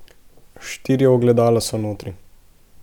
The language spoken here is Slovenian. Štiri ogledala so notri.